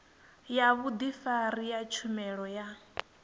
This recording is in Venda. ya vhudifari ya tshumelo ya